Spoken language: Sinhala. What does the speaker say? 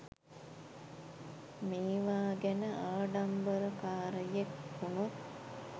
මේවා ගැන ආඩම්බරකාරයෙක් වුණොත්